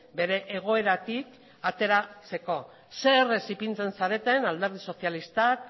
bere egoeratik ateratzeko zein errez ipintzen zareten alderdi sozialistak